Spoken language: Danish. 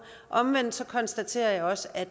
omvendt konstaterer jeg også at